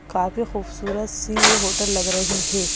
काफी खूबसूरत सी यह होटल लग रही है।